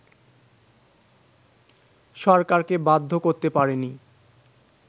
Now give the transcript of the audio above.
সরকারকে বাধ্য করতে পারেনি